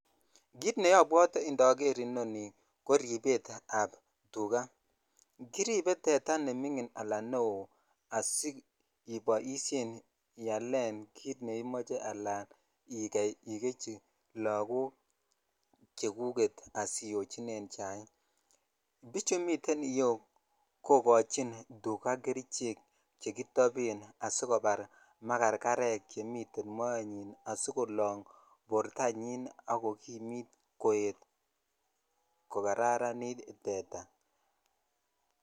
Kiit nekobwote indoker inonii ko ribetab tukaa kiribe teta neming'in alaan neoo asiiboishen ialen kiit neimoje alaan ikeii ikechi lokok chekuket asiyochinen chaik, bichu miten iyeuu kokochin tukaa kerichek chekitoben asikobar makarkarek chemiten moenyin asikolong bortanyin ak kokimiit koet kokararanit teta.